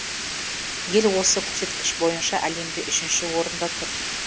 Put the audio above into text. ел осы көрсеткіш бойынша әлемде үшінші орында тұр